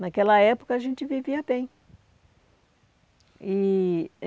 Naquela época, a gente vivia bem e